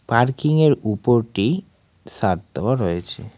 পার্কিংয়ের উপরটি ছাদ দেওয়া রয়েছে।